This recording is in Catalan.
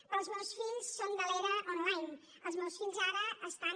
però els meus fills són de l’era online els meus fills ara estan